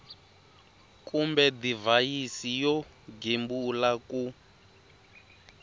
kumbe divhayisi yo gembula ku